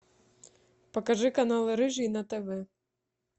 покажи канал рыжий на тв